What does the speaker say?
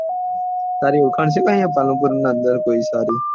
તારી ઊડ્ખાણ છે ત્યીયા પાલનપુર ના અંદર કોઈ સારી